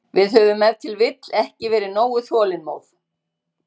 Við höfum ef til vill ekki verið nógu þolinmóð.